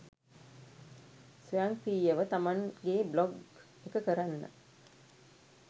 ස්වයංක්‍රීයව තමන්ගේ බ්ලොග් එක කරන්න